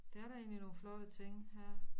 Der er da egentlig nogle flotte ting her